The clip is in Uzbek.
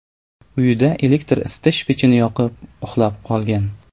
uyida elektr isitish pechini yoqib, uxlab qolgan.